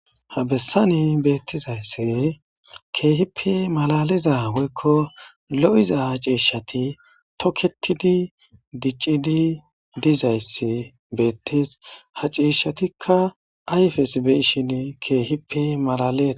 Ha bessane beettizaysse keehippe malaliza woykko lo7iza ha ciishshati toketidi diccidi dizayssi beettees.ha ceeshshatikka ayfes beyshin keehippe malalilaa.